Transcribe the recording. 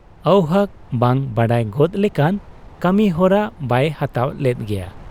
ᱟᱹᱣᱦᱟᱹᱠ ᱵᱟᱝ ᱵᱟᱰᱟᱭ ᱜᱚᱫᱽ ᱞᱮᱠᱟᱱ ᱠᱟᱹᱢᱤᱦᱚᱨᱟ ᱵᱟᱭ ᱦᱟᱛᱟᱣ ᱞᱮᱫ ᱜᱮᱭᱟ ᱾